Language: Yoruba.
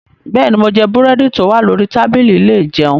Bẹ́ẹ̀ni, mo jẹ búrẹ́dì tó wà lórí tábìlì ilé ìjẹun.